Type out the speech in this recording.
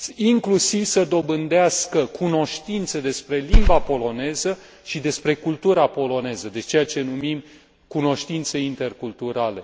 inclusiv să dobândească cunoștințe despre limba polonă și despre cultura poloneză, deci ceea ce numim cunoștințe interculturale.